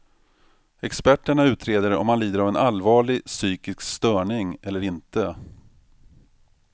Experterna utreder om han lider av en allvarlig psykisk störning eller inte.